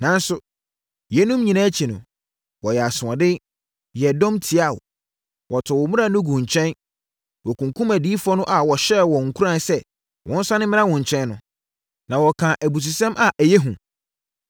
“Nanso, yeinom nyinaa akyi no, wɔyɛɛ asoɔden, yɛɛ dɔm tiaa wo. Wɔtoo wo mmara no guu nkyɛn. Wɔkunkumm adiyifoɔ no a wɔhyɛɛ wɔn nkuran sɛ wɔnsane mmra wo nkyɛn no, na wɔkaa abususɛm a ɛyɛ hu.